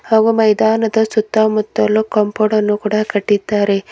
ಹಾಗು ಮೈದಾನದ ಸುತ್ತ ಮುತ್ತಲು ಕಾಂಪೌಂಡ್ ಅನ್ನು ಕೂಡ ಕಟ್ಟಿದ್ದಾರೆ.